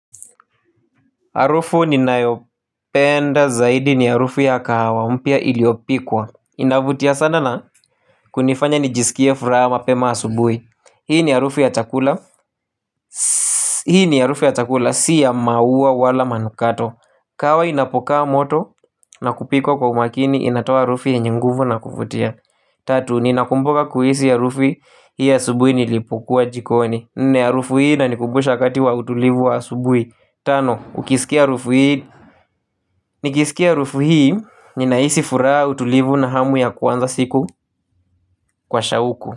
Arufu ninayopenda zaidi ni arufu ya kahawa mpya iliopikwa. Inavutia sana na kunifanya nijisikie furaha mapema asubui. Hii ni arufu ya chakula. Hii ni arufu ya chakula si ya maua wala manukato. Kahawa inapokaa moto na kupikwa kwa umakini inatoa arufu yenye nguvu na kuvutia. Tatu, ninakumbuka kuiisi arufi hii asubui nilipokua jikoni. Nne arufu hii inanikumbusha wakati wa utulivu wa asubui. Tano, ukisikia arufu ii nikisikia arufu hii, ninaisi furaha utulivu na hamu ya kuanza siku kwa shauku.